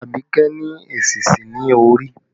Abike ni èsísí ní orí